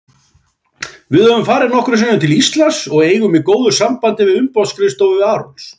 Við höfum farið nokkrum sinnum til Íslands og eigum í góðu sambandi við umboðsskrifstofu Arons.